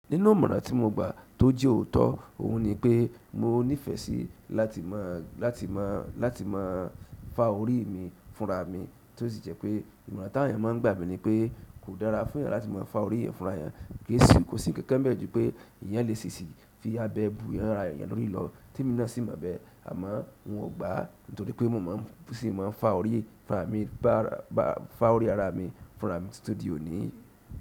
Nínú ìmọ̀ràn tí mo gba tó jẹ́ òótọ́ oun nipe mo ní fẹ́ si láti mo láti mo láti mo fa orii mi fún ra mi, tó sì jẹ́ pé ìmọ̀ràn tí àwọn eyan nma gba mi ní pé kò dára fún yan láti má fàá orí eyan fún ra eyan kí èsì kò sí kẹ̀kẹ́ mẹ́jọ̀ pé ìyẹn lè ṣiṣẹ́ fi abẹ́ bu eyín ara èèyàn lórí lọ, tí mo náà sì mọ̀ bẹ́ẹ̀ àmọ́ n ò gba, nítorí pé mo máa ń sì máa ń fa orí fúnra mi, bá, bá fa orí ara mi fúnra mi torí òní.